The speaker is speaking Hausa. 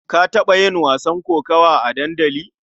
Ka taɓa yin wasan kokawa a dandali?